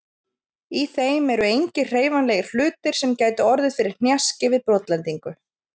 Í þeim eru engir hreyfanlegir hlutir sem gætu orðið fyrir hnjaski við brotlendingu.